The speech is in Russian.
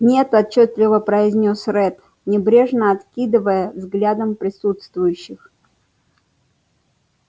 нет отчётливо произнёс ретт небрежно откидывая взглядом присутствующих